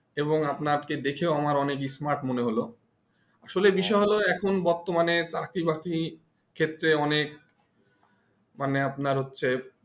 এবং আপনা দেখে আমার অনেক smart মনে হলো আসলে বিষয় হলো এখন বর্তমানে চাকরি বাকরি ক্ষেত্রে অনেক মানে আপনার হচ্ছে